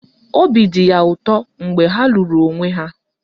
Obi dị ya ụtọ mgbe ha lụrụ onwe ha.